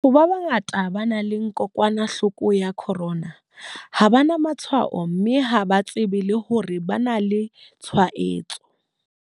Batho ba bangata ba nang le kokwanahloko ya corona ha ba na matshwao mme ha ba tsebe le hore ba na le tshwaetso.